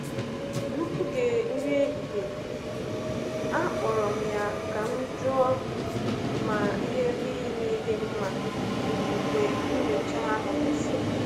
N’oge nri ehihie, akpọrọ m ya ka m jụọ ma ihe niile dị mma mgbe nnyocha ahụ gasịrị.